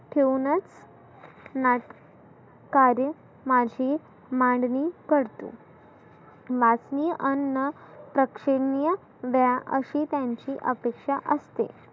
ठेऊनच नाट कार्य माशी मानवी करतो. नाचनी अन्न प्रक्षनीय द्या अशी त्यांची अपेक्षा असते.